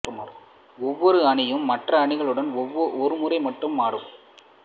ஒவ்வொரு அணியும் மற்றைய அணிகளுடன் ஒரு முறை மட்டும் ஆடும்